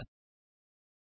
spoken tutorial